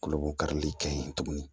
Koloko karili ka ɲi tuguni